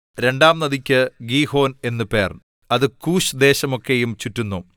രണ്ടാം നദിക്ക് ഗീഹോൻ എന്നു പേർ അത് കൂശ്‌ ദേശമൊക്കെയും ചുറ്റുന്നു